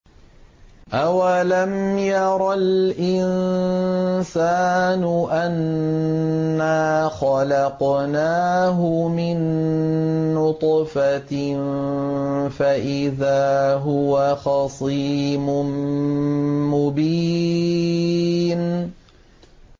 أَوَلَمْ يَرَ الْإِنسَانُ أَنَّا خَلَقْنَاهُ مِن نُّطْفَةٍ فَإِذَا هُوَ خَصِيمٌ مُّبِينٌ